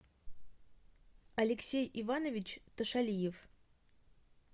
алексей иванович тошалиев